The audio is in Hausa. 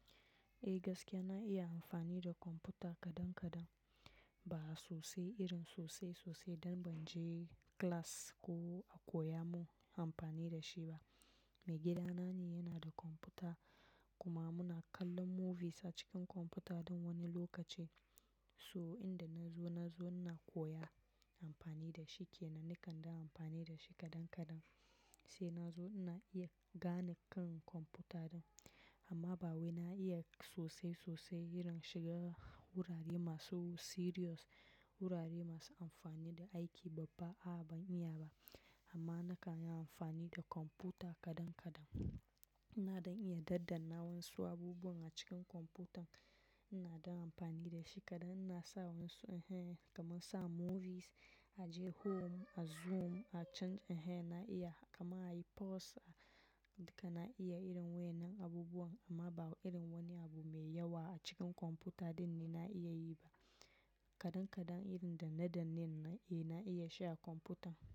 Eh gaskiya na iya amfani da kwamfuta kadan kadan ba sosai irin sosai sosai don ban je class ko a koya mun amfani da shi ba. Mai gida na ne yanada kwamfuta kuma muna kallon movies a cikin kwamfuta don wani lokaci. So inda na zo, na zo na koya amfani da shi ke na nikanda amfani da shi kadan kadan. Sai na zo na iya gane kan kwamfuta din amma ba wai na iya sosai sosai irin shiga wurare masu serious, wurare masu amfani da aiki babba a'a ban iya ba. Amma na kan yi amfani da kwamfuta kadan kadan. Na don iya ɗanɗanna wasu abubuwan a cikin kwamfutan, na don amfani da shi kadan. Na sa wasu eh kamar sa movies, aje home, a zoom, a change eh na iya kaman ayi pause a duka na iya irin wannan abubuwan amma ba irin wani abu mai yawa a cikin kwamfuta dinnan na iya yi ba. Kadankadan irin danne danne ne na iya sha kwamfutan.